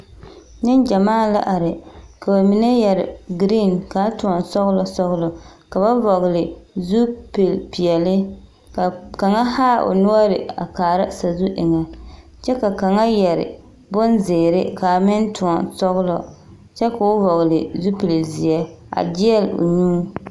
Neŋgyamaa la are ka ba mine yɛre giriiŋ kaa tõɔ sɔglɔ sɔglɔ ka ba vɔgele zupilpeɛle ka kaŋa haa o noɔre a kaara szu eŋɛ kyɛ ka kaŋa yɛre bonzeere kaa meŋ tõɔ sɔglɔ kyɛ koo hɔgele zupil-zeɛ a gyeɛl o nyuu.